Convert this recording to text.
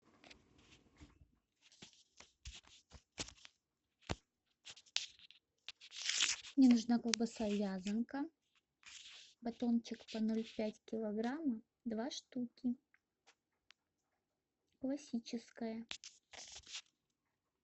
мне нужна колбаса вязанка батончик по ноль пять килограмма два штуки классическая